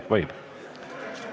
Võib?